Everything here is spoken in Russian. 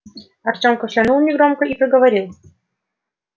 артём кашлянул негромко и проговорил